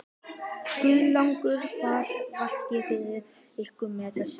Guðlaugur, hvað vakir fyrir ykkur með þessu?